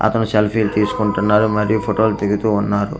అతను సెల్ఫీలు తీసుకుంటున్నారు మరియు ఫొటో లు దిగుతూ ఉన్నారు.